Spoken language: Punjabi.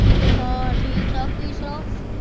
ਹਾਂ ਠੀਕ-ਠਾਕ ਤੂੰ ਹੀ ਸੁਣਾਓ।